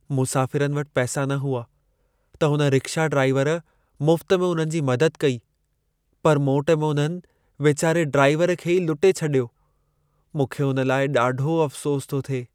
मुसाफ़िरनि वटि पैसा न हुआ, त हुन रिक्शा ड्राइवर मुफ़्त में उन्हनि जी मदद कई, पर मोट में उन्हनि वेचारे ड्राइवर खे ई लुटे छॾियो। मूंखे हुन लाइ ॾाढो अफ़सोस थो थिए।